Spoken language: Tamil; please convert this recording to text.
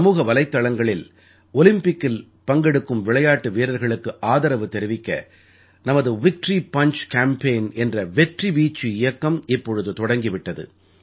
சமூக வலைத்தளங்களில் ஒலிம்பிக்கில் பங்கெடுக்கும் விளையாட்டு வீரர்களுக்கு ஆதரவு தெரிவிக்க நமது விக்டரி பஞ்ச் கேம்பேயின் என்ற வெற்றி வீச்சு இயக்கம் இப்பொழுது தொடங்கி விட்டது